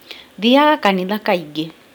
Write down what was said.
Thiaga kanitha kaingĩ